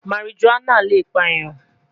Marijuana le pa eyan